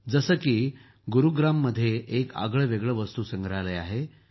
जसे की गुरूग्राममध्ये एक आगळंवेगळं वस्तुसंग्रहालय आहे